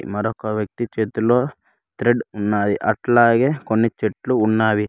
మరొక వ్యక్తి చేతిలో థ్రెడ్ ఉన్నది అట్లాగే కొన్ని చెట్లు ఉన్నావి.